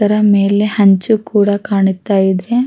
ಒಂತರ ಹಂಚು ಕೂಡ ಕಾಣುತ ಇದೆ--